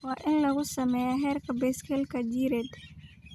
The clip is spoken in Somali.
Waa in lagu sameeyaa heerka biseylka jireed.